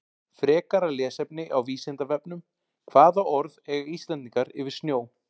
Frekara lesefni á Vísindavefnum Hvaða orð eiga Íslendingar yfir snjó?